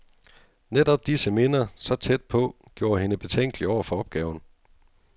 Netop disse minder, så tæt på, gjorde hende betænkelig over for opgaven.